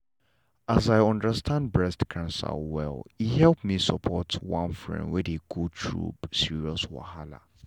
as i understand breast cancer well e help me support one friend wey dey go through serious wahala.